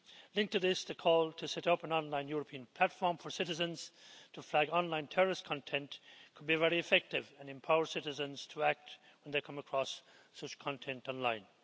Linked to this, the call to set up an online European platform for citizens to flag online terrorist content could be very effective and empower citizens to act when they come across such content online.